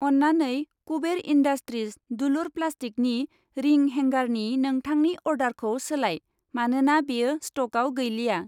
अन्नानै कुबेर इन्डास्ट्रिज दुलुर प्लास्टिकनि रिं हेंगारनि नोंथांनि अर्डारखौ सोलाय, मानोना बेयो स्टकआव गैलिया।